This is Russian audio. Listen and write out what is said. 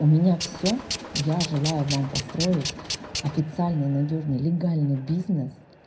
у меня все я желаю вам построить официальный надёжный легальный бизнес